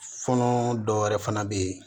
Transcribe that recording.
Funun dɔw yɛrɛ fana bɛ yen